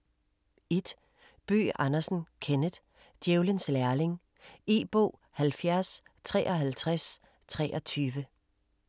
1. Bøgh Andersen, Kenneth: Djævelens lærling E-bog 705323